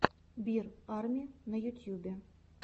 бир арми на ютюбе